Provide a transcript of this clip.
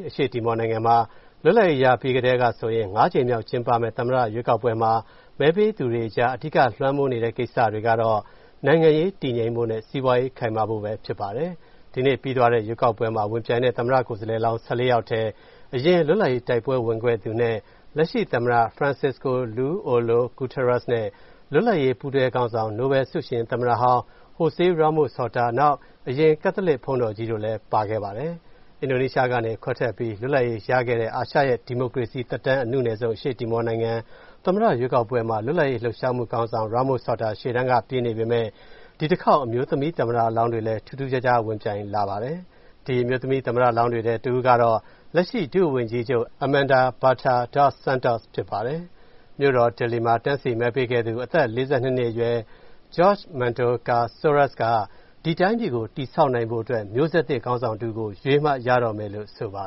အရှေ့တီမောနိုင်ငံမှာ လွတ်လပ်ရေးရခဲ့ကတည်းကဆိုရင် ၅ ကြိမ်မြောက် ကျင်းပမယ့် သမ္မတရွေးကောက်ပွဲမှာ မဲပေးသူတွေကြား အဓိကလွှမ်းမိုးနေတဲ့ ကိစ္စတွေကတော့ နိုင်ငံရေးတည်ငြိမ်ဖို့နဲ့ စီးပွားရေးခိုင်မာဖို့တို့ပဲ ဖြစ်ပါတယ်။ ဒီနေ့ပြီးသွားတဲ့ ရွေးကောက်ပွဲမှာ ဝင်ပြိုင်တဲ့ သမ္မတကိုယ်စားလှယ်လောင်း ၁၄ ယောက်ထဲ အရင် လတ်လပ်ရေးတိုက်ပွဲ ဝင်ခဲ့သူနဲ့ လက်ရှိသမ္မတ Francisco Lu Olo Guterres နဲ့ လွတ်လပ်ရေး ပူးတွဲခေါင်းဆောင် နိုဘဲလ်ဆုရှင် သမ္မတဟောင်း Jose Ramos-Horta၊ နောက် အရင် ကက်သလစ်ဘုန်းတော်ကြီးတို့လည်း ပါခဲ့ပါတယ်။ အင်ဒိုနီးရှားကနေခွဲထွက်ပြီး လွတ်လပ်ရေးရခဲ့တဲ့ အာရှရဲ့ ဒီမိုကရေစီသက်တမ်း အနုနယ်ဆုံး အရှေ့တီမောနိုင်ငံ သမ္မတရွေးကောက်ပွဲမှာ လွတ်လပ်ရေး လှုပ်ရှားမှုခေါင်းဆောင် Ramos-Horta ရှေ့တန်းက ပြေးနေပေမယ့် ဒီတခေါက် အမျိုးသမီး သမ္မတလောင်းတွေလည်း ထူးထူးခြားခြား ဝင်ပြိုင်လာပါတယ်။ ဒီ အမျိုးသမီး သမ္မတလောင်းတွေထဲ တဦးကတော့ လက်ရှိ ဒုဝန်ကြီးချုပ် Armanda Berta Dos Santos ဖြစ်ပါတယ်။ မြို့တော် Dili မှာ တန်းစီမဲပေးခဲ့သူ အသက် ၄၂ နှစ်အရွယ် Jorge Mendonca Soares က ဒီတိုင်းပြည်ကို တည်ဆောက်နိုင်ဖို့အတွက် မျိုးဆက်သစ် ခေါင်းဆောင်တဦးကို ရွေးမှရတော့မယ်လို့ ဆိုပါ